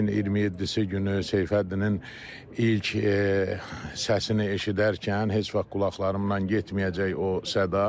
Ayın 27-si günü Seyfəddinin ilk səsini eşidərkən heç vaxt qulaqlarımdan getməyəcək o səda.